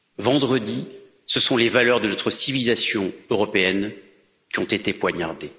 Vendredi, ce sont les valeurs de notre civilisation européenne qui ont été poignardées.